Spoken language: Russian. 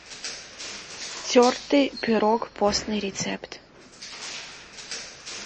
тертый пирог постный рецепт